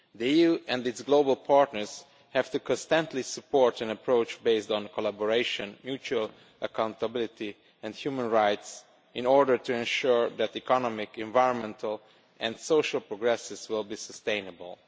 The EU and its global partners have to constantly support an approach based on collaboration, mutual accountability and human rights, in order to ensure that economic, environmental and social progress will be sustainable.